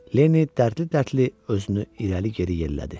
Lenni dərdli-dərdli özünü irəli-geri yellədi.